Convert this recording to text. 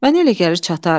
Mənə elə gəlir çatar.